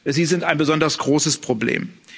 sie sind ein besonders großes Problem.